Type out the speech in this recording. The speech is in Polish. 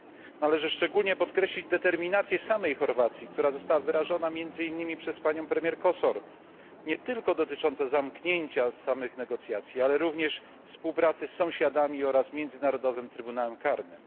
Należy szczególnie podkreślić determinację samej Chorwacji, która została wyrażona między innymi przez panią premier Kosor, nie tylko dotyczącą zamknięcia samych negocjacji, ale również współpracy z sąsiadami oraz Międzynarodowym Trybunałem Karnym.